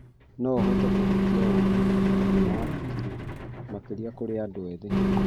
No ũhote kũhutia ũru ũgima wa hakiri makĩria kũrĩ andũ ethĩ.